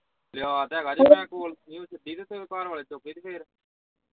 ਲਿਆ ਤੇ ਹੈਗਾ ਹੁਣ ਉਹਨੇ ਜੇ ਘਰ ਵਾਲਾ ਚੁੱਕੇ ਤੇ ਫੇਰ।